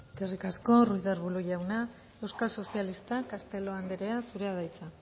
eskerrik asko ruiz de arbulo jauna euskal sozialistak castelo anderea zurea da hitza